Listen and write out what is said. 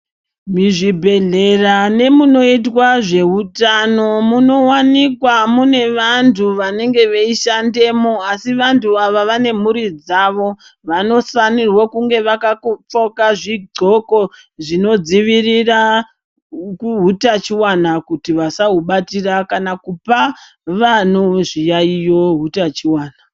Mizvibhedhlera nemunoitwa zveutamo munowanikwa mune vantu vanenga veishandemwo asi vantu ava vane mhuri dzavo vanofanira kunge vakaKopfeka zvidxoko zvinodzivirira kuutachiwana kuti vasahubatira kana kupa vanu zviyaiyo utachiwana.